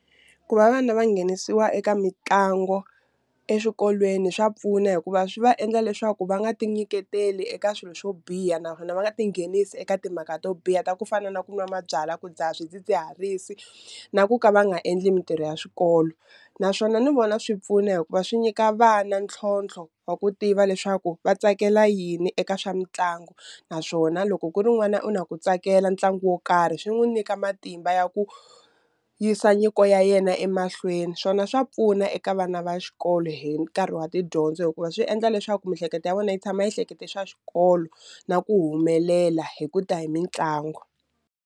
Ku va vana va nghenisiwa eka mitlangu eswikolweni swa pfuna hikuva swi va endla leswaku va nga ti nyiketeli eka swilo swo biha naswona va nga tinghenisi eka timhaka to biha ta ku fana na ku nwa mabyalwa ku dzaha swidzidziharisi na ku ka va nga endli mintirho ya swikolo, naswona ni vona swi pfuna hikuva swi nyika vana ntlhontlho wa ku tiva leswaku va tsakela yini eka swa mitlangu naswona loko ku ri n'wana u na ku tsakela ntlangu wo karhi swi n'wu nyika matimba ya ku yisa nyiko ya yena emahlweni swona swa pfuna eka vana va xikolo hi nkarhi wa tidyondzo hikuva swi endla leswaku miehleketo ya vona yi tshama yi hlekete swa xikolo na ku humelela hi ku ta hi mitlangu.